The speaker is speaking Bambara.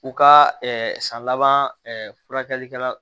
U ka san laban furakɛlikɛla